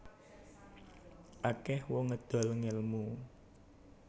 Akeh wong ngedol ngelmu